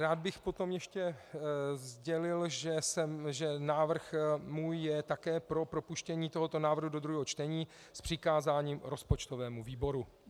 Rád bych potom ještě sdělil, že můj návrh je také pro propuštění tohoto návrhu do druhého čtení s přikázáním rozpočtovému výboru.